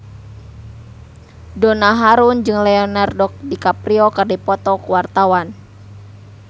Donna Harun jeung Leonardo DiCaprio keur dipoto ku wartawan